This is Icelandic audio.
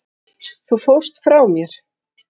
Þú fórst frá mér.